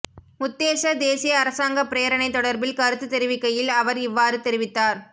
உத்தேச தேசிய அரசாங்க பிரேரணை தொடர்பில் கருத்துத் தெரிவிக்கையில் அவர் இவ்வாறு தெரிவித்தார்